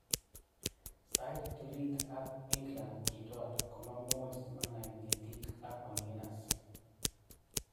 Sait ptulit ab England kitwal, komamuch simana ngetik ab Malvinas."